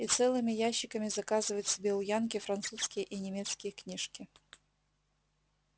и целыми ящиками заказывают себе у янки французские и немецкие книжки